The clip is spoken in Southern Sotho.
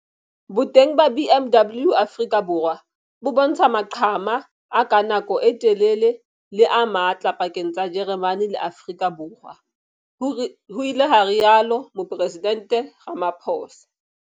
"Boteng ba BMW Afrika Borwa bo bontsha maqhama a ka nako e telele le a matla pakeng tsa Jeremane le Afrika Borwa," ho ile ha rialo Moporesidente Ramaphosa.